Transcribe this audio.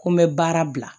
Ko n bɛ baara bila